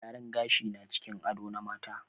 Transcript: Gyaran gashi na cikin ado na mata.